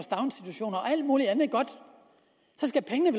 alt mulig andet godt så skal pengene